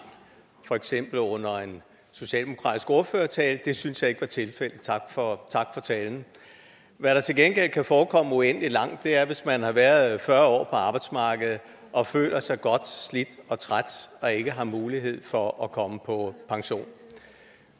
for eksempel under en socialdemokratisk ordførertale det synes jeg ikke var tilfældet så tak for talen hvad der til gengæld kan forekomme uendelig langt er hvis man har været fyrre år arbejdsmarkedet og føler sig godt slidt og træt og ikke har mulighed for at komme på pension